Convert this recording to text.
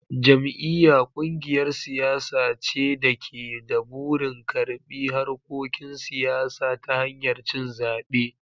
Jam'iyya: Kungiyar siyasa ce da ke da burin karbi harkokin siyasa ta hanyar cin zabe.